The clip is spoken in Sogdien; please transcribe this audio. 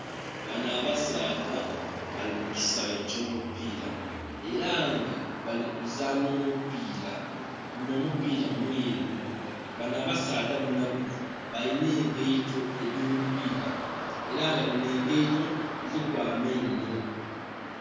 Bano abasaadha bali mu kisaghe eky'omupiira era nga bali kuzanha omupiira, guno omupiira mweru. Bano abasaadha bonabona balina engaito edh'omupiira era nga dhino engaito dhiriku amainho.